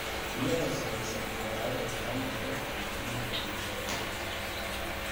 Biyaha wasakhaysan waxay dhaawici karaan heerarka caafimaadka bulshada.